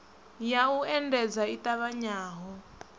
ya u endedza i ṱavhanyaho